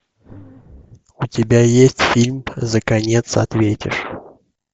у тебя есть фильм за конец ответишь